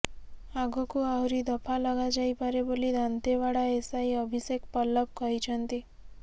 ଆଗକୁ ଆହୁରି ଦଫା ଲଗାଯାଇପାରେ ବୋଲି ଦାନ୍ତେଓ୍ୱାଡ଼ା ଏସଆଇ ଅଭିଷେକ ପଲ୍ଲଭ କହିଛନ୍ତି